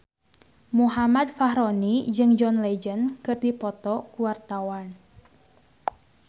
Muhammad Fachroni jeung John Legend keur dipoto ku wartawan